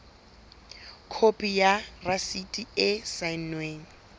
khopi ya rasiti e saennweng